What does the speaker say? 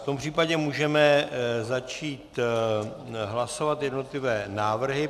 V tom případě můžeme začít hlasovat jednotlivé návrhy.